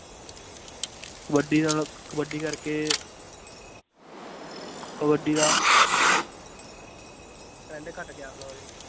ਕਬੱਡੀ ਦਾ ਕਬੱਡੀ ਕਰਕੇ ਕਬੱਡੀ ਦਾ trend ਘੱਟ ਗਿਆ ਹੁਣ ਉਰੇ।